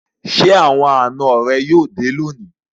Ṣé àwọn àná rẹ yóò dé lónìí?